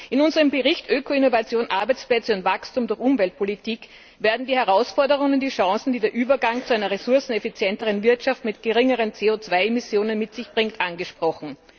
In unserem Bericht Öko Innovation Arbeitsplätze und Wachstum durch Umweltpolitik werden die Herausforderungen und die die Chancen, die der Übergang zu einer ressourceneffizienteren Wirtschaft mit geringeren CO 2 Emissionen mit sich bringt, angesprochen.